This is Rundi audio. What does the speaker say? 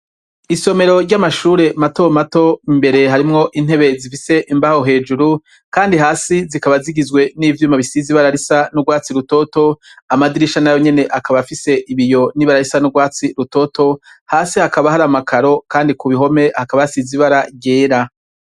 Isomero ry’amashure mato mato , imbere harimwo intebe zifise imbaho hejuru Kandi hasi zikaba zigizwe nivyuma bisize ibara risa n’ugwatsi rutoto, amadirisha nayo nyene akaba afise ibiyo n’ibara risa n’ugwatsi rutoto, hasi hakaba har’ amakaro Kandi kubihome hakaba hasize ibara ryera.